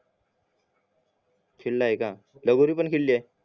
खेळलाय का कांगोरी पण खेळलाय का लगोरी पण खेळलीये